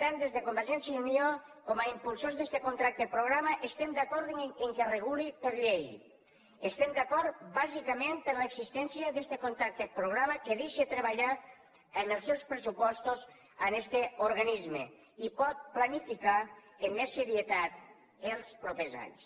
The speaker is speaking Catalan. tant des de convergència i unió com a impulsors d’este contracte programa estem d’acord que reguli per llei estem d’acord bàsicament per l’existència d’este contracte programa que deixa treballar amb els seus pressupostos este organisme i pot planificar amb més serietat els propers anys